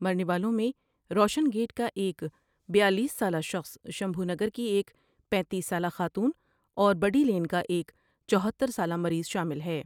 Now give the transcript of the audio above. مرنے والوں میں روشن گیٹ کا ایک بیالیس سال شخص شمجھونگر کی ایک پینتیس سالہ خاتون اور بڑی لین کا ایک چوہتر سالہ مریض شامل ہے ۔